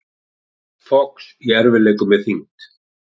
Fox í erfiðleikum með þyngd